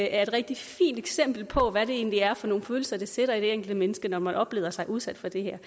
er et rigtig fint eksempel på hvad det egentlig er for nogle følelser det sætter i det enkelte menneske når man oplever sig udsat for det her